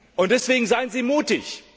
Und deswegen Seien Sie mutig!